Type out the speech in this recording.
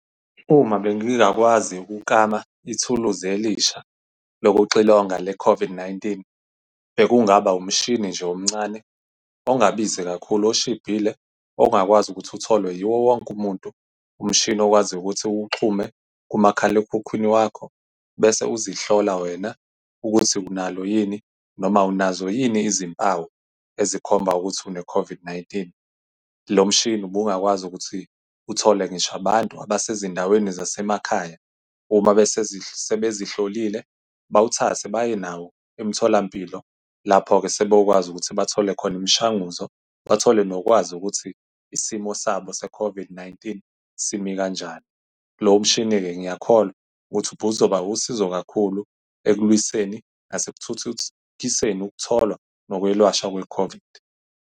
Uma bengingakwazi ukuklama ithuluzi elisha lokuxilonga le COVID-19, bekungaba umshini nje omncane, ongabizi kakhulu, oshibhile, ongakwazi ukuthi utholwe yiwo wonke umuntu. Umshini owaziyo ukuthi uwuxhume kumakhalekhukhwini wakho, bese uzihlola wena ukuthi unalo yini, noma unazo yini izimpawu ezikhomba ukuthi une-COVID-19. Lo mshini ubungakwazi ukuthi uthole ngisho abantu abasezindaweni zasemakhaya. Uma sebezihlolile bawuthathe baye nawo emtholampilo, lapho-ke sebeyokwazi ukuthi bathole khona umshanguzo, bathole nokwazi ukuthi isimo sabo se-COVID-19 simi kanjani. Lo mshini-ke, ngiyakholwa ukuthi ubuzoba usizo kakhulu ekulwiseni nasekuthuthukiseni ukutholwa nokwelashwa kwe-COVID.